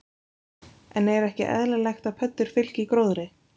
En er ekki eðlilegt að pöddur fylgi gróðri?